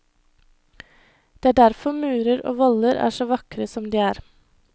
Det er derfor murer og voller er så vakre som de er.